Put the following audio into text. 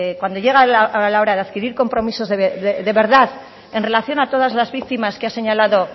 cuando llega la hora de adquirir compromisos de verdad en relación a todas las víctimas que ha señalado